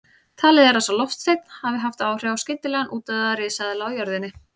Talið er að sá loftsteinn hafi haft áhrif á skyndilegan útdauða risaeðla á jörðinni.